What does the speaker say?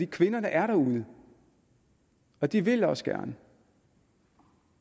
kvinderne er derude og de vil også gerne